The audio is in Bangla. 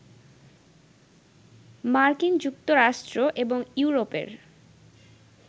মার্কিন যুক্তরাষ্ট্র এবং ইউরোপের